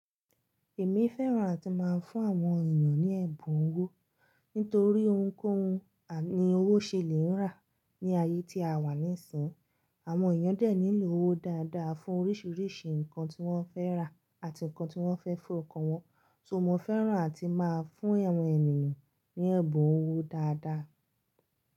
Èmi fẹ́ràn àti máa ń fún àwọn ènìyàn ní ẹ̀bùn owó, nítorí ohunkóhun ni owó ṣe lè rà ní ayé tí a wà nísìnyí. Àwọn ènìyàn dẹ̀ nílò owó dáadáa fún oríṣiríṣi nǹkan tí wọ́n fẹ́ rà àti nǹkan tí wọ́n fẹ́ fún ọkọ wọn. So mo fẹ́ràn àti máa ń fún àwọn ènìyàn ní ẹ̀bùn owó dáadáa.